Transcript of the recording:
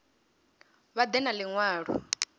vha ḓe na ḽi ṅwalo